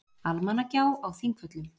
Almannagjá á Þingvöllum.